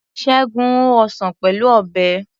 Ṣẹ́gun ho ọsàn Pẹ̀lú Ọ̀bẹ.